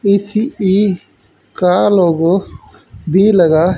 ECE का logo भी लगा है।